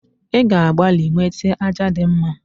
i ga-agbali wete aja di mma